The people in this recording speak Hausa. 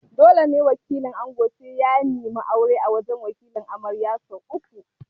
Dole ne sai wakilin ango ya neme aure a wajan Wakilin amarya sau uku